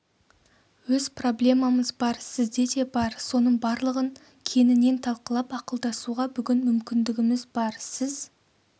өз проблемамыз бар сізде де бар соның барлығын кеңінен талқылап ақылдасуға бүгін мүмкіндігіміз бар сіз